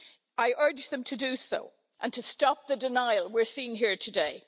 I urge them to do so and to stop the denial we're seeing here today.